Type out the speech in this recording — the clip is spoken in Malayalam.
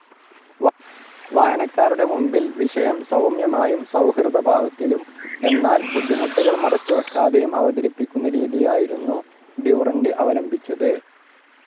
വായനക്കാരുടെ മുൻപിൽ വിഷയം സൗമ്യമായും സൗഹൃദഭാവത്തിലും എന്നാൽ ബുദ്ധിമുട്ടുകൾ മറച്ചുവയ്ക്കാതെയും അവതരിപ്പിക്കുന്ന രീതിയായിരുന്നു ഡ്യുറൻ്റ് അവലംബിച്ചത്.